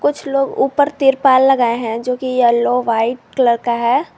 कुछ लोग ऊपर तिरपाल लगाए हैं जो की येलो व्हाइट कलर का है।